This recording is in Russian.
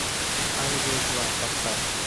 ангел зла поставь